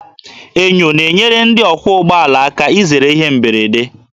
Enyo na-enyere ndị ọkwọ ụgbọala aka izere ihe mberede